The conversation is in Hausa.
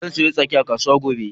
Zan sayo 'yan tsaki a kasu gobe.